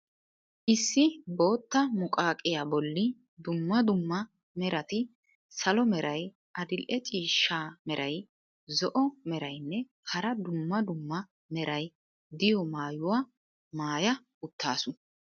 Issi bootta muqaqiya bolli dumma dumma merati salo meray, adil"e ciishsha meray, zo'o meraynne hara dumma dumma meray diyo maayuwa maaya uttaasu.